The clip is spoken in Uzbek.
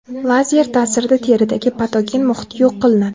Lazer ta’sirida teridagi patogen muhit yo‘q qilinadi.